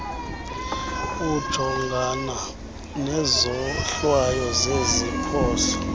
ujongana nezohlwayo zeziphoso